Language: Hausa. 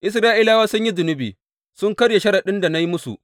Isra’ilawa sun yi zunubi, sun karya sharaɗin da na yi musu.